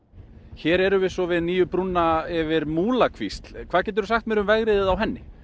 hér erum við svo við nýju brúna yfir Múlakvísl hvað geturðu sagt mér um vegriðið á henni